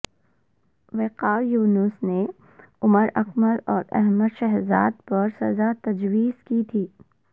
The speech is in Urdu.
وقار یونس نے عمر اکمل اور احمد شہزاد پرسزا تجویز کی تھی